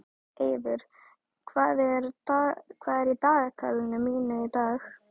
Eiður, hvað er í dagatalinu mínu í dag?